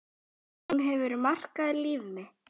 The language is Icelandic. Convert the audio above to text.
Hún hefur markað líf mitt.